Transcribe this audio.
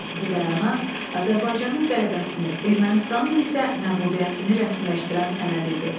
Bu bəyanat Azərbaycanın qələbəsini, Ermənistanın isə məğlubiyyətini rəsmiləşdirən sənəd idi.